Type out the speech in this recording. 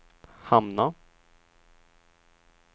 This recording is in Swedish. hamna